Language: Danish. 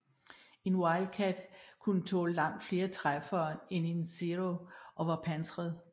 En Wildcat kunne tåle langt flere træffere end en Zero og var pansret